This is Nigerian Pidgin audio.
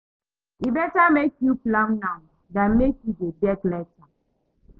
E better make you plan now than make you dey beg later.